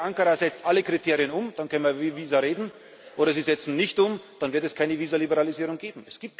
Entweder Ankara setzt alle Kriterien um, dann können wir über Visa reden, oder sie setzen sie nicht um, dann wird es keine Visa Liberalisierung geben.